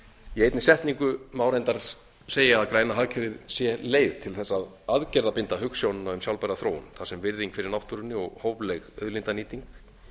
eini setningu má reyndar segja að græna hagkerfið sé leið til þess að aðgerðabinda hugsjónina um sjálfbæra þróun þar sem virðing fyrir náttúrunni og hófleg auðlindanýting